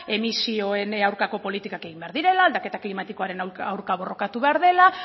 emisioen aurkako politikak egin behar direla aldaketa klimatikoaren aurka borrokatu behar dela